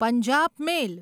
Punjab મેલ